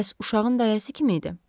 Bəs uşağın dayəsi kim idi?